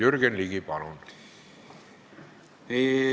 Jürgen Ligi, palun!